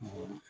Awɔ